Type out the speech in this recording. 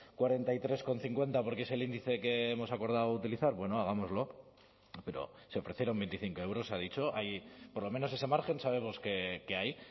cuarenta y tres coma cincuenta porque es el índice que hemos acordado utilizar bueno hagámoslo pero se ofrecieron veinticinco euros ha dicho por lo menos ese margen sabemos que hay